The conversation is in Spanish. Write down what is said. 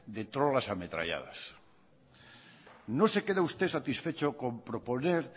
de trolas ametralladas no se queda usted satisfecho con proponer